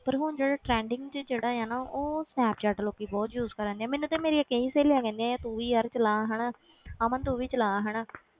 ਪਰ ਹੁਣ ਜਿਹੜੇ trending ਜਿਹੜਾ ਆ ਨਾ ਉਹ ਸਨੈਪਚੈਟ ਲੋਕੀ ਬਹੁਤ use ਕਰਦੇ ਆ ਮੈਨੂੰ ਤੇ ਮੇਰੀਆਂ ਕਈ ਸਹੇਲੀਆਂ ਕਹਿੰਦੀਆਂ ਤੂੰ ਵੀ ਯਾਰ ਚਲਾ ਹਨਾ ਅਮਨ ਤੂੰ ਵੀ ਚਲਾ ਹਨਾ